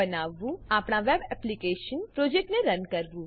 અને છેલ્લે આપણા વેબ એપ્લીકેશન પ્રોજેક્ટને રન કરવું